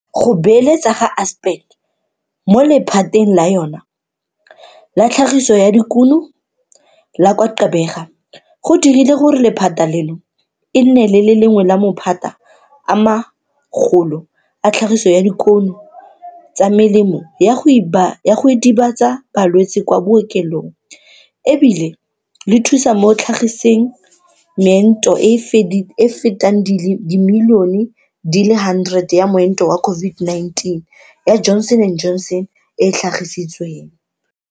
Go beeletsa ga Aspen mo lephateng la yona la tlhagiso ya dikuno la kwa Gqeberha go dirile gore lephata leno e nne le lengwe la maphata a magolo a tlhagiso ya dikuno tsa melemo ya go idibatsa balwetse kwa bookelong e bile le thusitse mo go tlhagiseng meento e e fetang dimilione di le 100 ya moento wa COVID-19 ya Johnson and Johnson e e tlhagisitsweng.